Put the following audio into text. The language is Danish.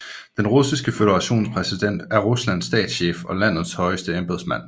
Den Russiske Føderations præsident er Ruslands statschef og landets højeste embedsmand